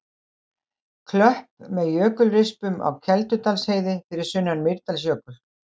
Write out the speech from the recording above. Klöpp með jökulrispum á Keldudalsheiði fyrir sunnan Mýrdalsjökul.